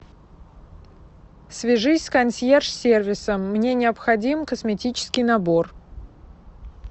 свяжись с консьерж сервисом мне необходим косметический набор